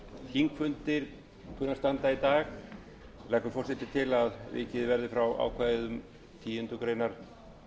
þar sem óvissa er um hve lengi þingfundir kunna að